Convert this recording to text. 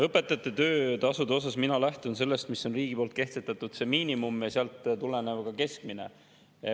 Õpetajate töötasude puhul mina lähtun sellest, mis on riigi kehtestatud miinimum ja sealt tulenev keskmine.